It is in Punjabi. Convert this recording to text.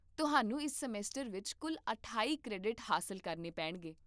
ਤੁਹਾਨੂੰ ਇਸ ਸਮੈਸਟਰ ਵਿੱਚ ਕੁੱਲ ਅਠਾਈ ਕ੍ਰੈਡਿਟ ਹਾਸਲ ਕਰਨੇ ਪੇਣਗੇ